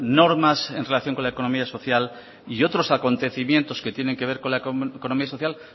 normas en relación con la economía social y otros acontecimientos que tienen que ver economía social